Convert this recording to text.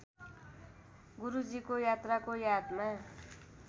गुरूजीको यात्राको यादमा